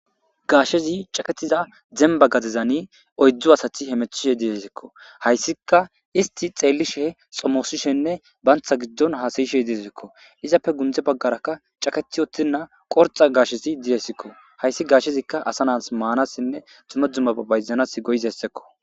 Gashezi caketiza zemba gadezani oydzdzu asati hemethishe diyesikko hayssika isti xeellishe xomoosishenne bantha giddon haasayishe diyesikko izappe gundze baggarakka caketi oththinna qorxa gashesi diyesikko hayssi gaashshezikka asa nas maanasinne tumedzumma bayzanas goyizessekko.